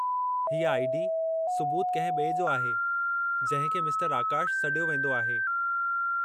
हीउ आई.डी. सुबूत कंहिं ॿिए जो आहे, जंहिं खे मिस्टरु आकाशु सॾियो वेंदो आहे।